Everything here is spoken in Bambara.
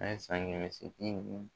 A ye san kɛmɛ se